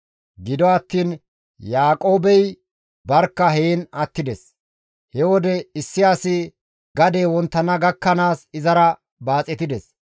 Gido attiin Yaaqoobey barkka heen attides. He wode issi asi gadey wonttana gakkanaas izara baaxetides.